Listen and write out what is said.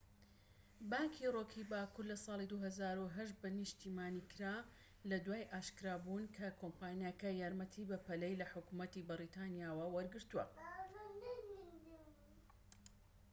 بانکی ڕۆکی باکوور لە ساڵی 2008 بە نیشتیمانیکرا لە دوای ئاشکرابوون کە کۆمپانیاکە یارمەتی بەپەلەی لە حکومەتی بەریتانیا وەرگرتووە